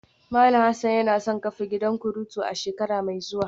Malam Hassan yana son kafa gidan kuturu a shekara mai zuwa